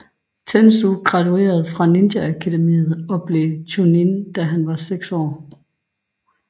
Tenzou graduerede fra Ninja Akademiet og blev Chuunin da han var seks år